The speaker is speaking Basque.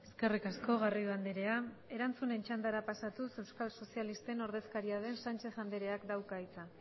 eskerrik asko garrido andrea erantzunen txandara pasatuz euskal sozialisten ordezkariaren sánchez andreak dauka hitza